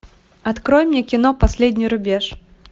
открой мне кино последний рубеж